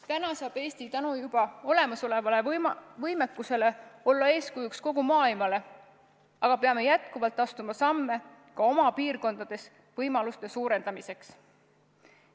Täna saab Eesti tänu juba olemasolevale võimekusele olla eeskujuks kogu maailmale, aga peame jätkuvalt astuma samme ka oma piirkondades võimaluste suurendamiseks.